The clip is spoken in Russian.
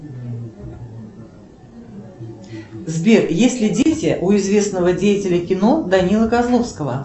сбер есть ли дети у известного деятеля кино данилы козловского